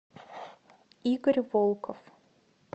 игорь волков